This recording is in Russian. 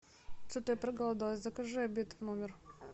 что то я проголодалась закажи обед в номер